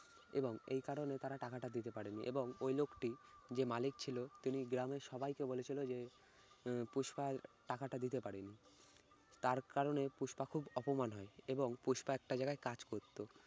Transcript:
এবং এই কারণে তারা টাকাটা দিতে পারেনি এবং ঐ লোকটি যে মালিক ছিল তিনি গ্রামের সবাইকে বলেছিল যে উম পুষ্পা টাকাটা দিতে পারেনি। তার কারণে পুষ্পা খুব অপমান হয়েছে এবং পুষ্পা একটা জায়গায় কাজ করতো